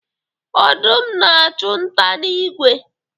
Odum a-achụ nta na igwe.